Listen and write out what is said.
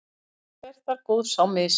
allt fer þar góðs á mis.